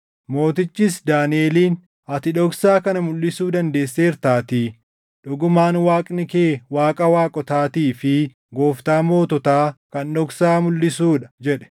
Mootichis Daaniʼeliin, “Ati dhoksaa kana mulʼisuu dandeesseertaatii dhugumaan Waaqni kee Waaqa waaqotaatii fi Gooftaa moototaa kan dhoksaa mulʼisuu dha” jedhe.